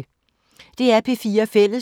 DR P4 Fælles